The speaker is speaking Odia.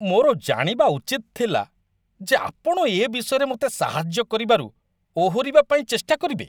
ମୋର ଜାଣିବା ଉଚିତ ଥିଲା ଯେ ଆପଣ ଏ ବିଷୟରେ ମୋତେ ସାହାଯ୍ୟ କରିବାରୁ ଓହରିବା ପାଇଁ ଚେଷ୍ଟା କରିବେ।